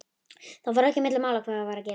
Það fór ekki milli mála hvað var að gerast.